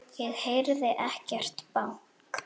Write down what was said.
Ég heyrði ekkert bank.